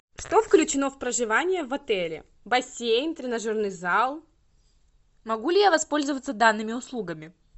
что включено в проживание в отеле бассейн тренажерный зал могу ли я воспользоваться данными услугами